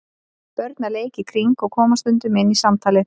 Börn að leik í kring og koma stundum inn í samtalið.